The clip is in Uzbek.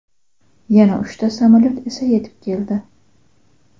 Yana uchta samolyot esa yetib keldi.